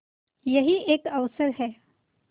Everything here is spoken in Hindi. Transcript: यही एक अवसर है